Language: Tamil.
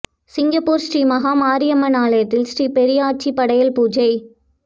சிங்கப்பூரில் ஸ்ரீ மகா மாரியம்மன் ஆலயத்தில் ஸ்ரீ பெரியாச்சி படையல் பூஜை